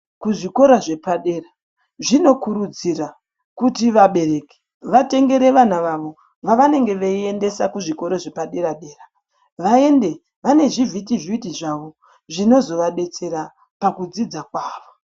Kuzvikora zvepadera zvinokurudzira kuti vabereki vatengere vana vavo vavanenge veindesa kuzvikora zvepaderadera vaende vane zvivhitivhiti zvavo zvinozovadetsera pakudzidza kwawo.